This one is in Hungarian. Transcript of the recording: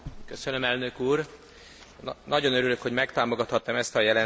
Nagyon örülök, hogy megtámogathattam ezt a jelentést, amit nagyon fontosnak tartok.